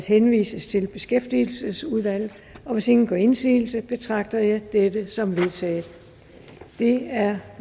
henvises til beskæftigelsesudvalget hvis ingen gør indsigelse betragter jeg dette som vedtaget det er